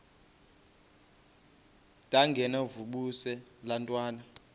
ndengakuvaubuse laa ntwana